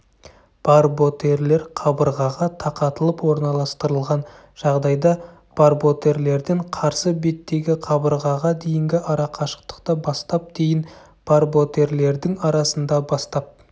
барботерлер қабырғаға тақатылып орналастырылған жағдайда барботерлерден қарсы беттегі қабырғаға дейінгі арақашықтықты бастап дейін барботерлердің арасында бастап